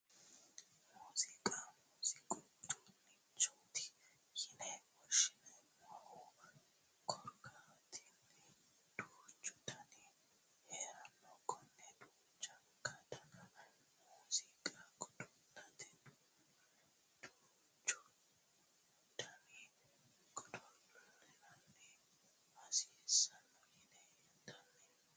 Muuziiqa muuziiqu uduunnichoti yine woshshineemmohu kiirotenni duuchu danihu heeranno konne duuchunku dani muuziiqa godo'late duuchu dani godo'laano hasiissanno yine hendeemmo